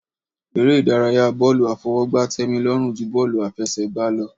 Eré ìdárayá bọ́ọ̀lù àfọwọ́gbá tẹ́mi lọ́rùn ju bọ́ọ̀lù àfẹsẹ̀gbá lọ.